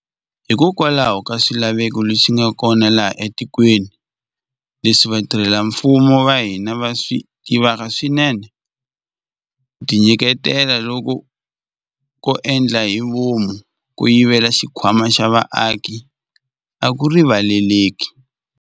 Hikokwalaho ka swilaveko leswi nga kona laha etikweni, leswi vatirhela mfumo va hina va swi tivaka swinene, ku tinyiketela loku ko endla hi vomu ko yivela xikhwama xa vaaki a ku rivaleleki.